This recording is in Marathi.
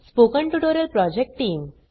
spoken tutorial project team